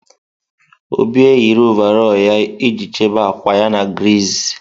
Obi eyiri ọvarọọr ya iji chebe akwa ya na griiz.